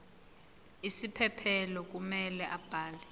isiphephelo kumele abhale